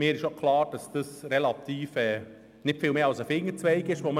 Es ist mir auch klar, dass wir hier nicht viel mehr als einen Fingerzeig geben.